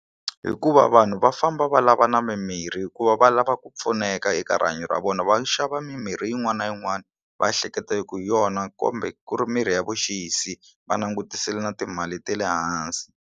Hikuva vanhu va famba va lava na mimirhi hikuva va lava ku pfuneka eka rihanyo ra vona va xava mimirhi yin'wana na yin'wana va ehleketa hi ku hi yona kumbe ku ri mirhi ya vuxisi va langutisile na timali ta le hansi.